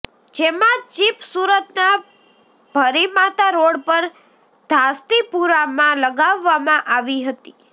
જેમાં ચિપ સુરતના ભરીમાતા રોડ પર ધાસ્તીપુરામાં લગાવવામાં આવી હતી